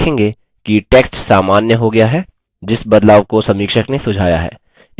आप देखेंगे कि टेक्स्ट सामान्य हो गया है जिस बदलाव को समीक्षक ने सुझाया है